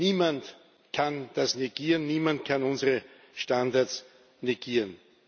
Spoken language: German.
Niemand kann das negieren, niemand kann unsere Standards negieren.